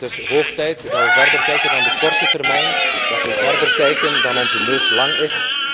Het is hoog tijd dat wij verder kijken dan de korte termijn, dat wij verder kijken dan onze neus lang is.